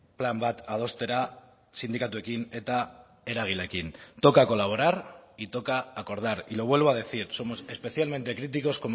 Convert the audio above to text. plan bat adostera sindikatuekin eta eragileekin toca colaborar y toca acordar y lo vuelvo a decir somos especialmente críticos